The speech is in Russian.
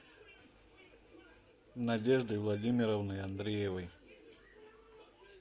надеждой владимировной андреевой